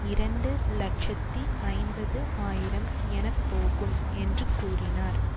இரண்டு இலட்சத்தி ஐம்பது ஆயிரம் எனப்போகும் என்று கூறினார்